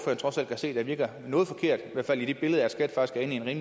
trods alt kan se virker noget forkert